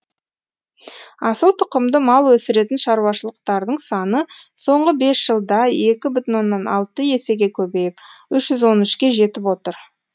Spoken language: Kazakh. асыл тұқымды мал өсіретін шаруашылықтардың саны соңғы бес жылда екі бүтін онннан алты есеге көбейіп үш жүз он үшке жетіп отыр